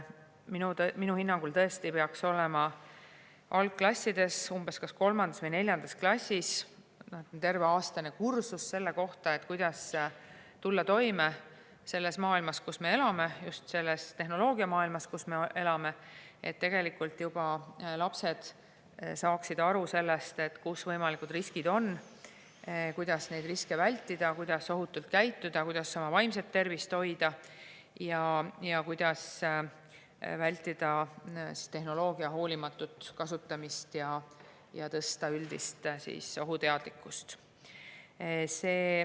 Minu hinnangul tõesti peaks olema algklassides, umbes 3. või 4. klassis, terve aastane kursus selle kohta, kuidas tulla toime selles tehnoloogiamaailmas, kus me elame, et juba lapsed saaksid aru, kus võimalikud riskid on, kuidas neid riske vältida, kuidas ohutult käituda, kuidas oma vaimset tervist hoida ning kuidas vältida tehnoloogia hoolimatut kasutamist ja tõsta üldist ohuteadlikkust.